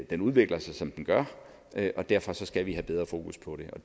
den udvikler sig som den gør og derfor skal vi have mere fokus på det og